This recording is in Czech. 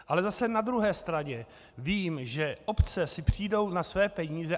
Ale zase na druhé straně vím, že obce si přijdou na své peníze.